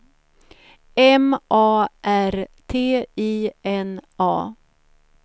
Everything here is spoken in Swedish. M A R T I N A